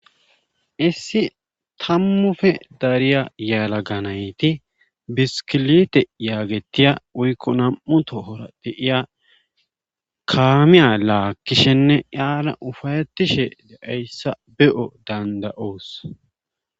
issi tammufe dariya yaalaga nayti biskilite yaagetiya woykko nam'u tohora de'iya kaamiya laagishenne qaala ufayettishe de'ayssa be'o dandayoos